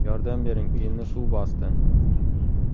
Yordam bering, uyimni suv bosdi!”.